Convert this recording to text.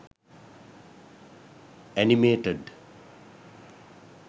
animated